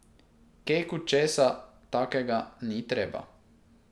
Keku česa takega ni treba.